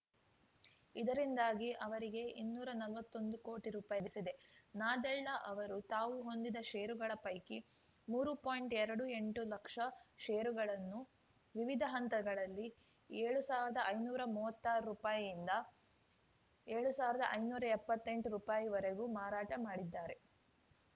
ಇದರಿಂದಾಗಿ ಅವರಿಗೆ ಇನ್ನೂರಾ ನಲ್ವತ್ತೊಂದು ಕೋಟಿ ರೂಪಾಯಿ ಲಭಿಸಿದೆ ನಾದೆಳ್ಲ ಅವರು ತಾವು ಹೊಂದಿದ್ದ ಷೇರುಗಳ ಪೈಕಿ ಮೂರು ಪಾಯಿಂಟ್ಎರಡು ಎಂಟು ಲಕ್ಷ ಷೇರುಗಳನ್ನು ವಿವಿಧ ಹಂತಗಳಲ್ಲಿ ಏಳು ಸಾವಿರದ ಐನೂರಾ ಮೂವತ್ತಾರು ರೂಪಾಯಿನಿಂದ ಏಳು ಸಾವಿರದ ಐನೂರಾ ಎಪ್ಪತ್ತೆಂಟು ರೂಪಾಯಿವರೆಗೂ ಮಾರಾಟ ಮಾಡಿದ್ದಾರೆ